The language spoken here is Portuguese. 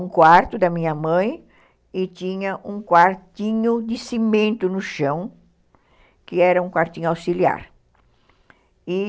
um quarto da minha mãe e tinha um quartinho de cimento no chão, que era um quartinho auxiliar.